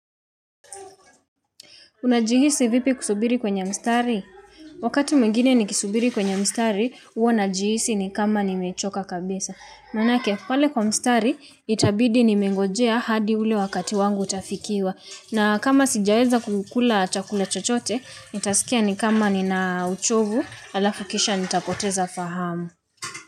Unajihisi vipi kusubiri kwenye mstari wakati mwingine nikisubiri kwenye mstari huwa najihisi ni kama nimechoka kabisa manake pale kwa mstari itabidi nimengojea hadi ule wakati wangu utafikiwa na kama sijaweza kukula chakula chochote nitasikia ni kama nina uchovu alafu kisha nitapoteza fahamu.